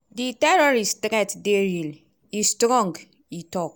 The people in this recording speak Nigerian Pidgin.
di terrorist threat dey real e strong" e tok.